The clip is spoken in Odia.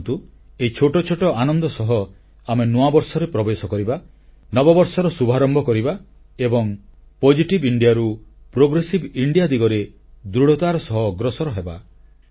ଆସନ୍ତୁ ଏଇ ଛୋଟ ଛୋଟ ଆନନ୍ଦ ସହ ଆମେ ନୂଅବର୍ଷରେ ପ୍ରବେଶ କରିବା ନବବର୍ଷର ଶୁଭାରମ୍ଭ କରିବା ଏବଂ ସକାରାତ୍ମକ ଭାରତରୁ ପ୍ରଗତିଶୀଳ ଭାରତ ଦିଗରେ ଦୃଢ଼ତାର ସହ ଅଗ୍ରସର ହେବା